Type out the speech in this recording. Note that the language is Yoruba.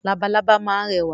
Labalábá máa ń rẹwà.